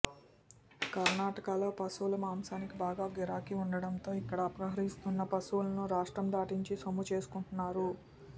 కర్ణాటకలో పశువుల మాంసానికి బాగా గిరాకీ ఉండటంతో ఇక్కడ అపహరిస్తున్న పశువులను రాష్ట్రం దాటించి సొమ్ము చేసుకుంటున్నారు